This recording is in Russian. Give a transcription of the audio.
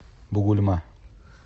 бугульма